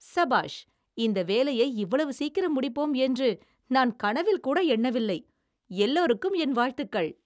சபாஷ்! இந்த வேலையை இவ்வளவு சீக்கிரம் முடிப்போம் என்று நான் கனவில் கூட எண்ணவில்லை, எல்லோருக்கும் என் வாழ்த்துக்கள்.